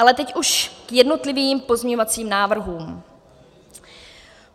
Ale teď už k jednotlivým pozměňovacím návrhům.